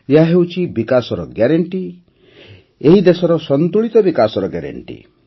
ଏହା ହେଉଛି ବିକାଶର ଗ୍ୟାରେଣ୍ଟି ଏହି ଦେଶର ସନ୍ତୁଳିତ ବିକାଶର ଗ୍ୟାରେଣ୍ଟି